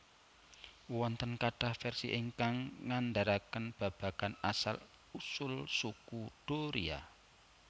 Wonten kathah versi ingkang ngandharaken babagan asal usul Suku Doria